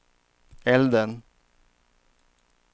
elden